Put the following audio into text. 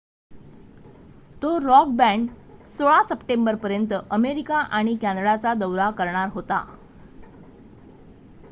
तो rock band 16 सप्टेंबरपर्यंत America आणि कॅनडाचा दौरा करणार होता